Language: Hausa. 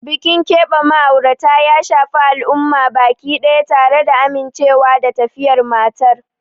Bikin keɓe ma'aurata ya shafi al'umma baki daya, tare da amincewa da tafiyar matar.